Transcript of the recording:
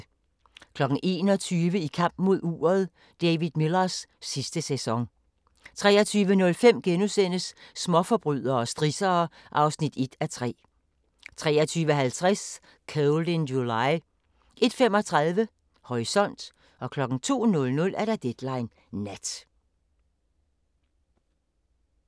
21:00: I kamp mod uret – David Millars sidste sæson 23:05: Småforbrydere og strissere (1:3)* 23:50: Cold in July 01:35: Horisont 02:00: Deadline Nat